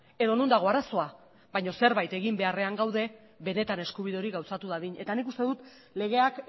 edo non dago arazoa baino zerbait egin beharrean gaude benetan eskubide hori gauzatu dadin eta nik uste dut legeak